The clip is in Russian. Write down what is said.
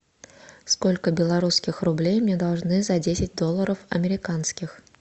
сколько белорусских рублей мне должны за десять долларов американских